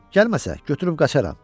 Gəlməsə, götürüb qaçıram.